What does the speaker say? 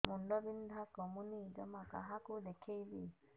ମୁଣ୍ଡ ବିନ୍ଧା କମୁନି ଜମା କାହାକୁ ଦେଖେଇବି